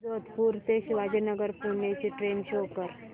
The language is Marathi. जोधपुर ते शिवाजीनगर पुणे ची ट्रेन शो कर